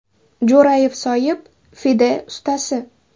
Jo‘rayev Soyib – FIDE ustasi.